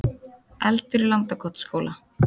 Eldur í Landakotsskóla